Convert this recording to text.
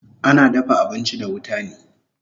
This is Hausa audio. Ana dafa abinchi da wuta ne